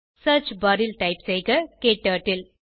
search bar ல் type செய்க க்டர்ட்டில்